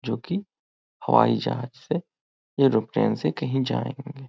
जो कि हवाई जहाज से एरोप्लेन से कहीं जाएँगे।